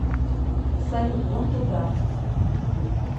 салют вон туда